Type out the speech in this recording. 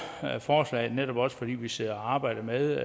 forslaget netop også fordi vi sidder og arbejder med